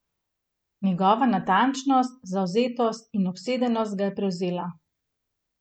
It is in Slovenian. Njegova natančnost, zavzetost in obsedenost ga je prevzela.